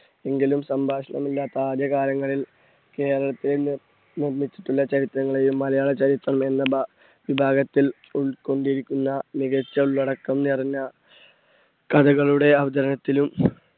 എങ്കിലും സംഭാഷണം ഇല്ലാത്ത ആദ്യ കാലങ്ങളിൽ കേരളത്തിൽ നി~നിർമ്മിച്ചിട്ടുള്ള ചരിത്രങ്ങളെയും മലയാള ചരിത്രം എന്ന ഭാ വിഭാഗത്തിൽ ഉൾക്കൊണ്ടിരിക്കുന്ന മികച്ച ഉള്ളടക്കം നിറഞ്ഞ കഥകളുടെ അവതരണത്തിലും